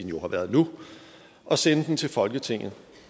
jo har været nu og sende den til folketinget